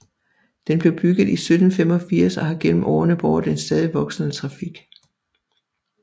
Den blev bygget i 1785 og har gennem årene båret en stadig voksende trafik